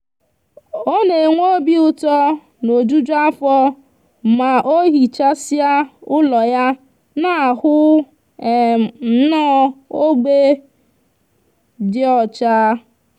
o n' enwe obiuto na ojuju afo ma ohichsia ulo ya n'ahu um nno ogbe di ocha